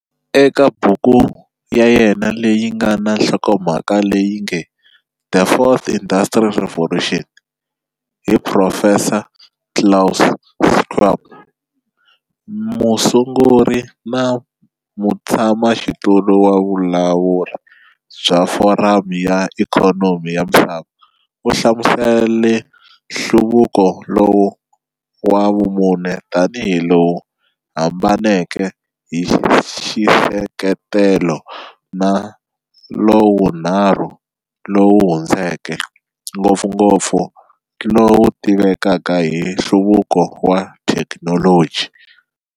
Eka buku ya yena leyi nga na nhlokomhaka leyi nge"The Fourth Industrial Revolution" hi Profesa Klaus Schwab, musunguri na Mutshamaxitulu wa Vulawuri bya Foramu ya Ikhonomi ya Misava, u hlamusele nhluvuko lowu wa vumune tanihi lowu hambaneke hi xisekelo na lowunharhu lowu hundzeke, ngopfungopfu lowu tivekaka hi nhluvuko wa thekinoloji.